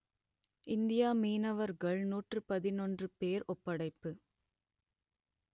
இந்திய மீனவர்கள் நூற்று பதினொன்று பேர் ஒப்படைப்பு